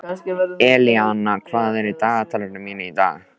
Elíanna, hvað er á dagatalinu mínu í dag?